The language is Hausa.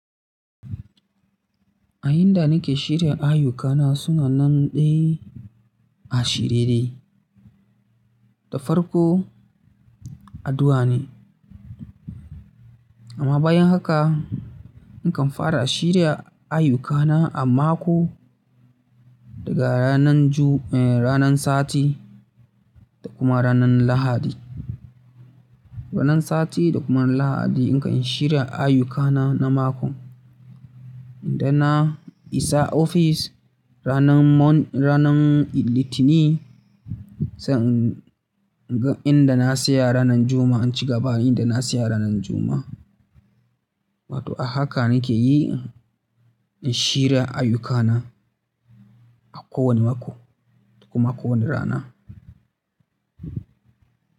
A yanda nake shirya ayyukana suna nan dai a shiyre da farko addu'a ne. Amma bayan haka nakan fara shirya ayyukana a mako daga ranan Ju-- eh, ranan Sati da kuma ranan Lahadi. Ranan Sati da kuma ran Lahadi na kan shirya ayyukana na mako. Idan na isa ofis ranan Mon-- ranan Litini, sai in inga na tsaya ranan Juma'a, in ci gaba inda na tsaya ranan Juma'a. Wato a haka nake yi in shirya ayyukana a kowane mako da kuma kowane rana.